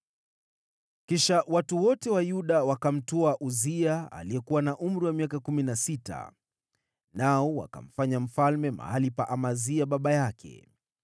Kisha watu wote wa Yuda wakamtwaa Uzia, aliyekuwa na umri wa miaka kumi na sita, nao wakamfanya mfalme mahali pa Amazia baba yake.